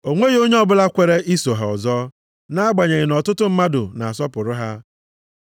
O nweghị onye ọbụla kwere iso ha ọzọ, nʼagbanyeghị na ọtụtụ mmadụ na-asọpụrụ ha.